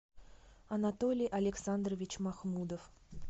анатолий александрович махмудов